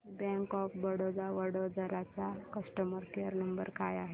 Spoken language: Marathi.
बँक ऑफ बरोडा वडोदरा चा कस्टमर केअर नंबर काय आहे